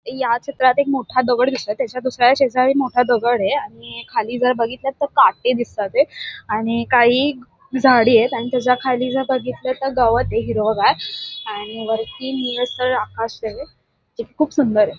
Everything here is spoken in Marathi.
या चित्रात एक मोठा दगड दिसतोय त्याच्या दुसऱ्या शेजारी मोठा दगड ये आणि खालील जर बघितलं तर काटे दिसतात ये आणि काही झाडे येत आणि त्याच्या खाली बघितलं तर गवत हिरवगार आणि वरती निळसर आकाश ये जे खूप सुंदर ये.